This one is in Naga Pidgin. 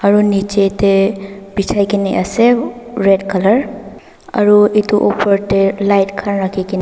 aru nichey tae bechai na ase red colour aru etu opor tae light khan rakhina.